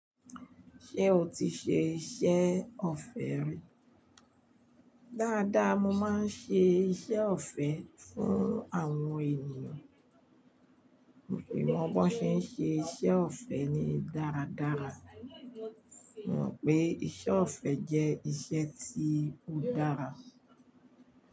Ṣé o ti ṣe iṣẹ́ ọ̀fẹ́ rí? Dáadáa, mo máa ń ṣe iṣẹ́ ọ̀fẹ́ fún àwọn ènìyàn. Nko mọ́ bí wọ́n ṣe ń ṣe iṣẹ́ ọ̀fẹ́ ni dáradára. Mo mọ̀ pé iṣẹ́ ọ̀fẹ́ jẹ́ iṣẹ́ tí ó dára.